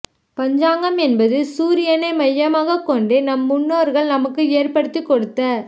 பஞ்சாங்கம் என்பது சூரியனை மையமாகக் கொண்டு நம் முன்னோர்கள் நமக்கு ஏற்படுத்திக் கொடுத்த